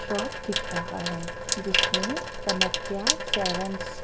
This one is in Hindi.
शॉप दिख रहा है जिसमे कनक्या--